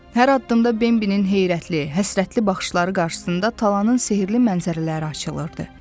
Hər addımda Bembinin heyrətli, həsrətli baxışları qarşısında talanın sehirli mənzərələri açılırdı.